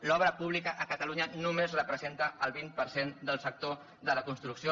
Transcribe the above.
l’obra pública a catalunya només representa el vint per cent del sector de la construcció